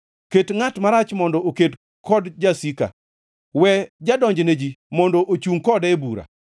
Ket ngʼat marach mondo oked kod jasika; we jadonj ne ji mondo ochungʼ kode e bura.